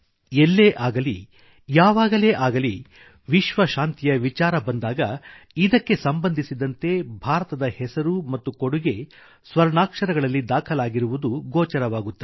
ಎಲ್ಲೇ ಆಗಲಿ ಯಾವಾಗಲೇ ಆಗಲಿ ವಿಶ್ವ ಶಾಂತಿಯ ವಿಚಾರ ಬಂದಾಗ ಇದಕ್ಕೆ ಸಂಬಂಧಿಸಿದಂತೆ ಭಾರತದ ಹೆಸರು ಮತ್ತು ಕೊಡುಗೆ ಸ್ವರ್ಣಾಕ್ಷರಗಳಲ್ಲಿ ದಾಖಲಾಗಿರುವುದು ಗೋಚರವಾಗುತ್ತದೆ